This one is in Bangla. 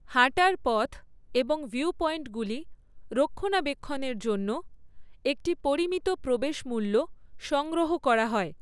হাঁটার পথ এবং ভিউপয়েন্টগুলি রক্ষণাবেক্ষণের জন্য একটি পরিমিত প্রবেশ মূল্য সংগ্রহ করা হয়।